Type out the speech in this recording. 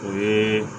O ye